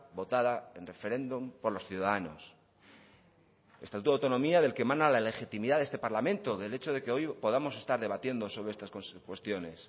votada en referéndum por los ciudadanos estatuto de autonomía del que emana la legitimidad a este parlamento del hecho de que hoy podamos estar debatiendo sobre estas cuestiones